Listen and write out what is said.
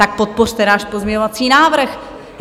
Tak podpořte náš pozměňovací návrh!